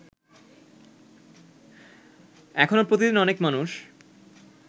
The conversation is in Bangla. এখনো প্রতিদিন অনেক মানুষ